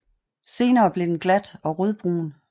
Senere bliver den glat og rødbrun